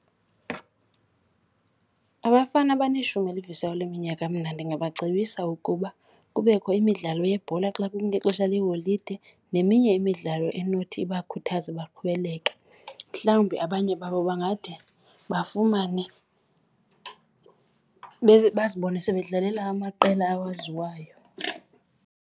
Abafana abaneshumi elivisayo leminyaka mna ndingabacebisa ukuba kubekho imidlalo yebhola xa kungexesha leeholide neminye imidlalo enothi ibakhuthaze baqhubeleke. Mhlawumbi abanye babo bangade bafumane , bazibone sebedlalela amaqela awaziwayo.